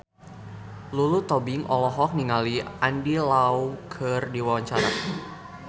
Lulu Tobing olohok ningali Andy Lau keur diwawancara